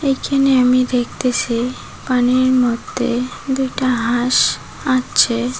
এইখানে আমি দেখতেসি পানির মধ্যে দুইটা হাঁস আছে।